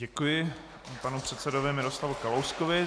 Děkuji panu předsedovi Miroslavu Kalouskovi.